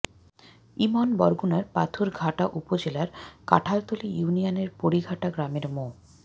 ইমন বরগুনার পাথরঘাটা উপজেলার কাঠালতলী ইউনিয়নের পরিঘাটা গ্রামের মো